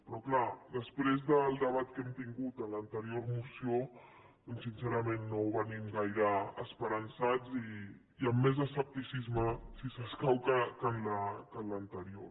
però clar després del debat que hem tingut en l’anterior moció doncs sincerament no venim gaire esperançats i amb més escepticisme si escau que en l’anterior